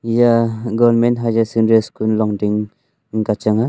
eya government higher secondry school longding ang kya chang a.